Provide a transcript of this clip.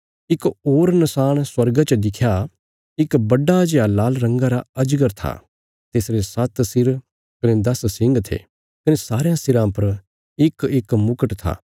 इक होर नशाण स्वर्गा च दिख्या इक बड्डा जेआ लाल रंगा रा अजगर था तिसरे सात्त सिर कने दस सिंग थे कने सारयां सिराँ पर इकइक मुकट था